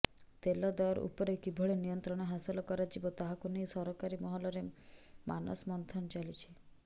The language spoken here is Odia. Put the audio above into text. ତେଲ ଦର ଉପରେ କିଭଳି ନିୟନ୍ତ୍ରଣ ହାସଲ କରାଯିବ ତାହାକୁ ନେଇ ସରକାରୀ ମହଲରେ ମାନସ ମନ୍ଥନ ଚାଲିଛି